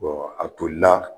Bɔn a toli la